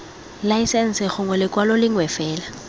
laesense gongwe lekwalo lengwe fela